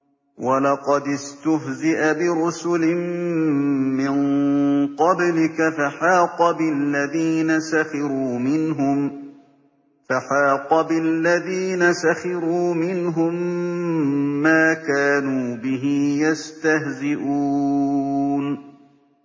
وَلَقَدِ اسْتُهْزِئَ بِرُسُلٍ مِّن قَبْلِكَ فَحَاقَ بِالَّذِينَ سَخِرُوا مِنْهُم مَّا كَانُوا بِهِ يَسْتَهْزِئُونَ